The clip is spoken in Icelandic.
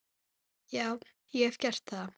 Já, ég hef gert það.